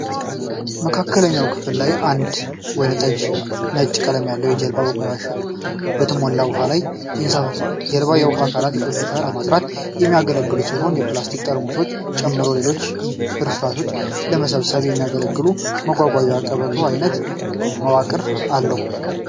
መካከለኛው ክፍል ላይ አንድ ወይንጠጅ እና ነጭ ቀለም ያለው ጀልባ በቆሻሻ በተሞላ ውሃ ላይ ይንሳፈፋል። ጀልባ የውሃ አካላትን ቆሻሻ ለማፅዳት የሚያገለግል ሲሆን፣ የፕላስቲክ ጠርሙሶችን ጨምሮ ሌሎች ፍርስራሾችን ለመሰብሰብ የሚያገለግል የማጓጓዣ ቀበቶ አይነት መዋቅር አለው።